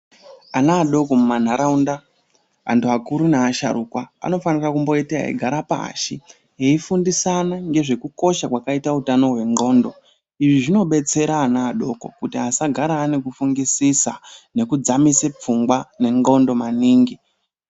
Ana adoko mumanharaunda antu akuru neasharukwa anofanira kumboita eigara pashi eifundisana ngezvekukokosha kwakaita utano hwendxondo. Izvi zvinobetsera ana adoko kuti asagara ane kufungisisa nekudzamise pfungwa nendxondo maningi.